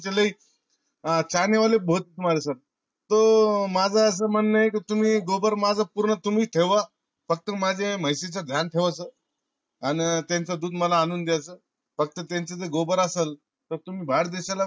लई तर माझ अस म्हणन ये कि तुम्ही माझा पूर्ण तुम्ही ठेवा. फक्त माझ्या म्हशीच ध्यान ठेवाच. अन त्यांचा दुध मला आणून द्याच. फक्त त्याचाय्त ल असाल तर ते बाहेर देशाला